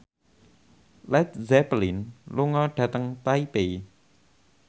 Led Zeppelin lunga dhateng Taipei